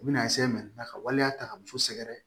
U bɛna ka waleya ta ka muso sɛgɛrɛ